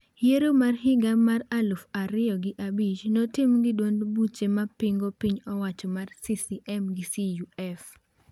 Yiero mar higa mar aluf ariyo gi abich notim gi duond buche ma pingo piny owacho mar CCM gi CUF.